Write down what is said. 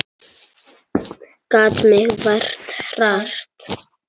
Gat mig vart hrært.